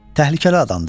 Təhlükəli adamdır.